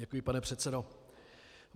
Děkuji, pane předsedo.